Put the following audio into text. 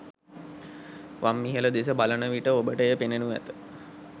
වම් ඉහළ දෙස බලන විට ඔබට එය පෙනෙනු ඇත.